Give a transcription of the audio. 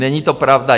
Není to pravda.